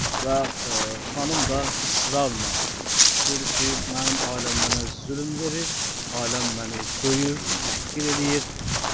Və xanım da israrla dedi ki, mənim ailəm mənə zülm verir, ailəm məni döyür, təhqir eləyir.